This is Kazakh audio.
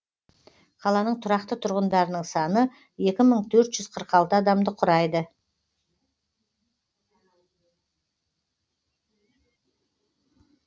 қаланың тұрақты тұрғындарының саны екі мың төрт жүз қырық алты адамды құрайды